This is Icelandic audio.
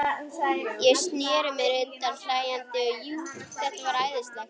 Ég sneri mér undan hlæjandi, jú, þetta var æðislegt.